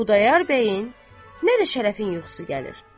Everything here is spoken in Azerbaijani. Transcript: Nə Xudayar bəyin, nə də Şərəfin yuxusu gəlir.